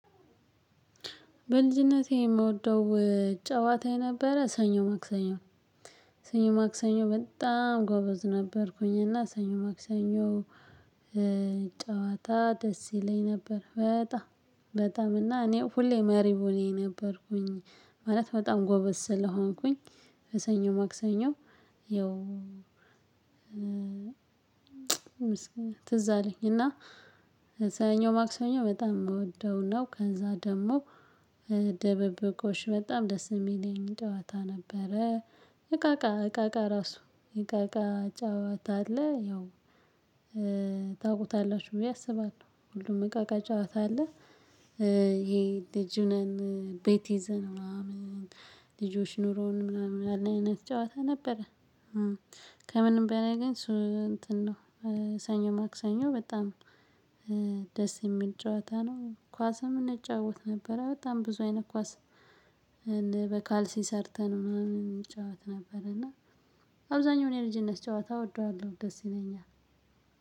በልጅነቴ የምወደው ጨዋታ የነበረ ሰኞ ማክሰኞ ሰኞ ማክሰኞ በጣም ጎበዝ ነበርኩኝ እና ሰኞ ማክሰኞ ጨዋታ ደስ ይለኝ ነበር በጣም። በጣም እና እኔ ሁሌ መሪ ሁኔ ነበርኩኝ ማለት በጣም ጎበዝ ስለሆንኩኝ በሰኞ ማክሰኞ። ያው ትዝ አለኝ እና ሰኞ ማክሰሰኞ በጣም የምወደው ነው። ከዛ ደግሞ ደብብቆሽ በጣም ደስ የሚለኝ ጨዋታ ነበረ። እቃ እቃ እቃ እቃ ራሱ እቃ እቃ ጨዋታ አለ ያው ታውቁታላችሁ ብዬ አስባለሁ ሁሉም እቃ እቃ ጫዋታ አለ። ይሄ ልጅ ነን ቤት ይዘን ምናምን ልጆች ኑሮውን ምናምን አለ አይነት ጨዋታ ነበረ። ከምንም በላይ ግን እሱ እንትን ነው ሰኞ ማክሰኞ በጣም ደስ የሚል ጨዋታ ነው። ኳስም እንጫወት ነበረ በጣም ብዙ አይነት ኳስ በካልሲ ሰርተን ምናምን እንጫወት ነበር እና። አብዛኛው የልጅነት ጨዋታ እወደዋለሁ ደስ ይለኛል።